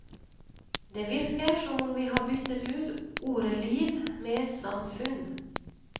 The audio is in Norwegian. Det virker som om vi har byttet ut ordet liv, med samfunn.